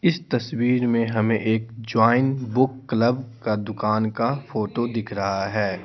इस तस्वीर में हमें एक जॉइन बुक क्लब का दुकान का फोटो दिख रहा है।